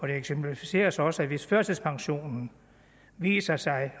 eksemplificeres også at hvis førtidspensionen viser sig